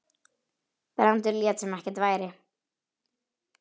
Brandur lét sem ekkert væri.